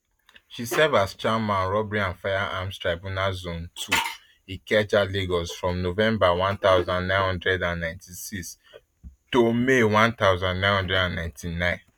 she serve as chairman robbery and firearms tribunal zone ii ikeja lagos from november one thousand, nine hundred and ninety-six to may one thousand, nine hundred and ninety-nine